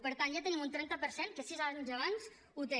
per tant ja tenim un trenta per cent que sis anys abans ho té